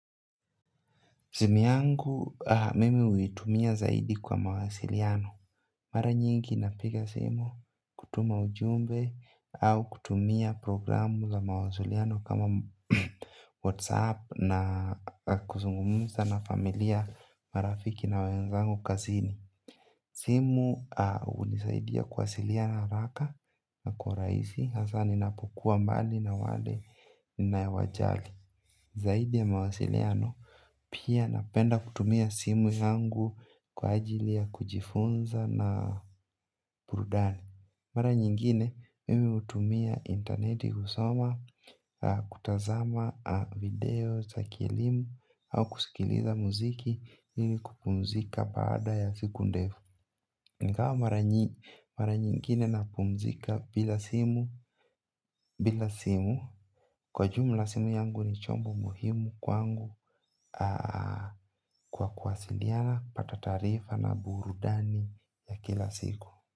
Simu yangu, mimi huitumia zaidi kwa mawasiliano. Mara nyingi inapiga simu kutuma ujumbe au kutumia programu za mawasiliano kama WhatsApp na kuzungumusa na familia marafiki na wenzangu kazini. Simu hunisaidia kuwasiliana haraka na kwa urahisi hasa ninapokuwa mbali na wale ninaowajali. Zaidi ya mawasiliano pia napenda kutumia simu yangu kwa ajili ya kujifunza na burudani. Mara nyingine, mimi hutumia interneti kusoma, kutazama video, za kielimu, au kusikiliza muziki, mimi kupumzika baada ya siku ndefu. Ingawa mara nyingine napumzika bila simu bila simu kwa jumla simu yangu ni chombo muhimu kwangu kwa kuwasilia napata taarifa na burudani ya kila siku.